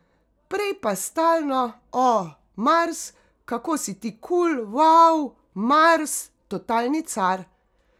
Prej pa stalno, o, Mars, kako si ti kul, vau, Mars, totalni car.